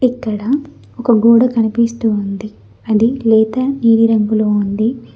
ఇక్కడ ఒక గోడ కనిపిస్తూ ఉంది అది లేత నీలి రంగులో ఉంది.